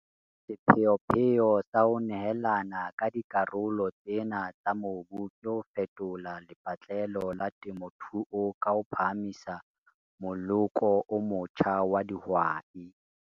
Sepheopheo sa ho nehelana ka dikarolo tsena tsa mobu ke ho fetola lepatlelo la temothuo ka ho phahamisa moloko o motjha wa dihwai.